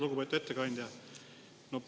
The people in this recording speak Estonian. Lugupeetud ettekandja!